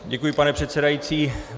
Děkuji, pane předsedající.